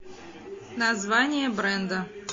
название бренда